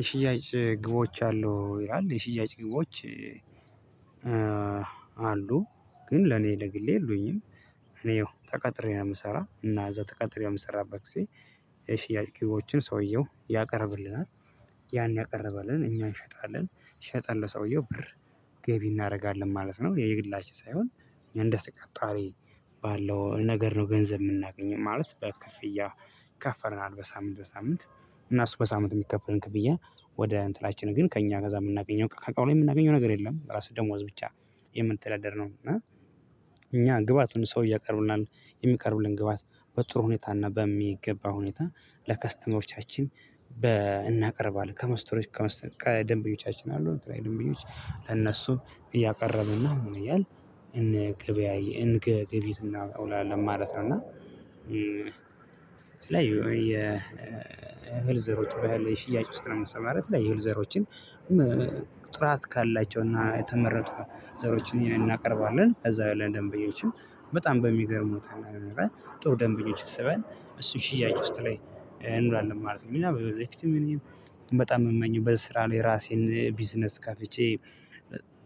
የሽያጭ ግቦች አሉ ይላል የሽያጭ ግቦች አሉ ግን ለኔ ለግሌ የሉኝም እኔ ተቀጥሬ ነው የምሰራ እና እዛ ተቀጥሬ የምሰራበት ጊዜ የሽያጭ ኪሎችን ሰውየው ያቀርብልናል ያን ያቀርባልን እኛ እንሸጣለን ሸጠን ለሰውየው ብር ገቢ እናደርጋለን ማለት ነው የግላችን ሳይሆን እንደ ተቀጣሪ ባለው ነገር ነው ገንዘብ የምናገኝ ማለት በክፍያ ይከፈለናል በሳምንት በሳምንት እና እሱ በሳምንት የሚከፈለን ክፍያ ወደ እንትናችን ግን ከእኛ ጋ የምናገኘው ከቃል ላይ የምናገኘው ነገር የለም በራስህ ደሞዝ ብቻ የምንተዳደር ነው እና እኛ ግባቱን ሰው እያቀረቡልን የሚቀርብልን ግባት በጥሩ ሁኔታ እና በሚገባ ሁኔታ ለከስተመሮቻችን እናቀርባለን ከመስተሮች ደንበኞቻችን አሉ ድንብኞች ለእነሱ እያቀረብን ነው እያልን ገቢ እናውላለን ማለት ነው እና የእህል ዘሮችን በእህል ሽያጭ ውስጥ ለመሠማራት የእህል ዘሮችን ጥራት ካላቸውና የተመረጡ ዘሮችን እናቀርባለን። ከዛ በኋላ ለደንበኞችም በጣም በሚገርም ሁኔታ ጥሩ ደንበኞች ስበን እሱን ሽያጭ ውስጥ ላይ እንሆናለን ማለት ነው። እና በጣም የምመኘው በስራ ላይ ራሴን ቢዝነስ ከፍቼ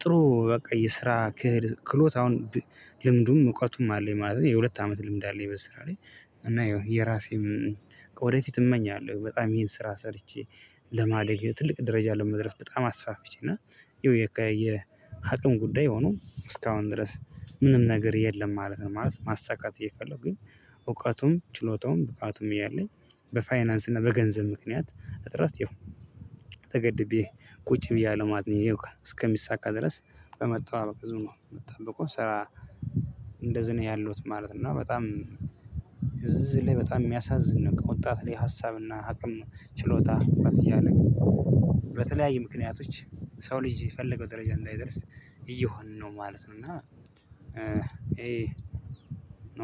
ጥሩ በቃ የስራ ክሎት አሁን ልምዱም እውቀቱም አለኝ ማለት ነው የሁለት አመት ልምድ አለኝ በስራ ላይ። እና የራሴም ወደፊት እመኛለሁ። በጣም ይሄን ስራ ሰርቼ ለማደግ በጣም ትልቅ ደረጃ ለመድረስ በጣም አስፋፍቼ እና ይኸው የአቅም ጉዳይ ሆኖ እስካሁን ድረስ ምንም ነገር የለም ማለት ነው። ማለት ማሳካት እየፈለጉኝ እውቀቱም ችሎታውም ብቃቱም እያለኝ በፋይናንስ እና በገንዘብ ምክንያት እጥረት ይሁን ተገድቤ ቁጭ ብያለሁ ማለት ነው። እስከሚሳካ ድረስ በመጠባበቅ ስራ እንደዚህ ነው ያለሁት ማለት ነው። እና በጣም እዚህ ላይ በጣም የሚያሳዝን ነገር ነው። ወጣት ላይ ሀሳብና አቅም ችሎታ እያለ በተለያዩ ምክንያቶች የሰው ልጅ የፈለገው ደረጃ እንዳይደርስ እየሆንን ነው ማለት ነው። እና